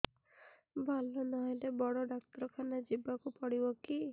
ଭଲ ନହେଲେ ବଡ ଡାକ୍ତର ଖାନା ଯିବା କୁ ପଡିବକି